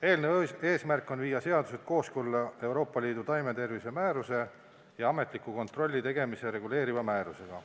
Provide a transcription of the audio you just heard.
Eelnõu eesmärk on viia seadused kooskõlla Euroopa Liidu taimetervise määruse ja ametlikku kontrolli tegemist reguleeriva määrusega.